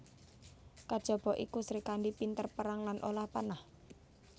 Kajaba iku Srikandhi pinter perang lan olah panah